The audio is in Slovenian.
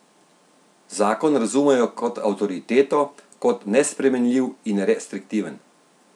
Zakon razumejo kot avtoriteto, kot nespremenljiv in restriktiven.